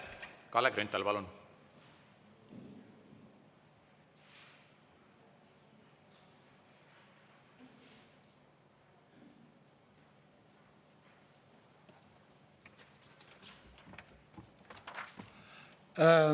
Kalle Grünthal, palun!